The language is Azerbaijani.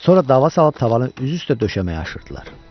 Sonra dava salıb tavanı üz-üzə döşəməyə aşırdılar.